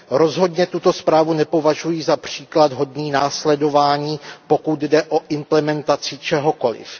Rozhodně tuto zprávu nepovažuji za příklad hodný následování, pokud jde o implementaci čehokoliv.